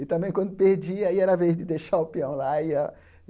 E também, quando perdia, era a vez de deixar o pião lá. E a